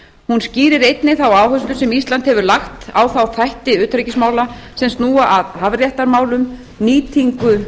hún skýrir einnig þá áherslu sem ísland hefur lagt á þá þætti utanríkismála sem snúa að hafréttarmálum nýtingu